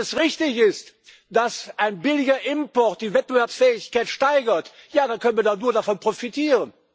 Denn wenn es richtig ist, dass ein billiger Import die Wettbewerbsfähigkeit steigert, dann können wir davon nur profitieren.